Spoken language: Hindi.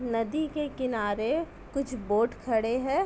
नदी के किनारे कुछ बोट खड़े हैं।